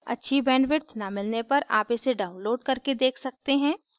अच्छी bandwidth न मिलने पर आप इसे download करके देख सकते हैं